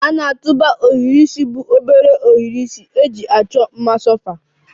A na-atụba ohiri isi bụ obere ohiri isi eji achọ mma sofa